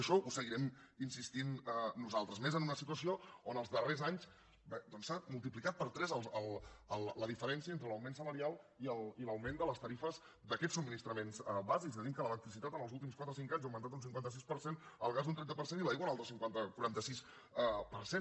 en això hi seguirem insistint nosaltres i més en una situació on els darrers anys s’ha multiplicat per tres la diferència entre l’augment salarial i l’augment de les tarifes d’aquests subministraments bàsics tenim que l’electricitat en els últims quatre o cinc anys ha augmentat un cinquanta sis per cent el gas un trenta per cent i l’aigua un altre quaranta sis per cent